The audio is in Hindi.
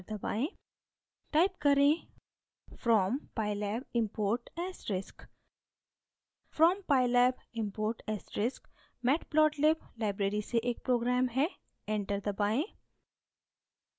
type करें: from pylab import * asterisk pylab matplotlib library से एक program है enter दबाएँ